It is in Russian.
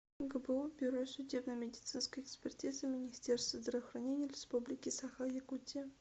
гбу бюро судебно медицинской экспертизы министерства здравоохранения республики саха якутия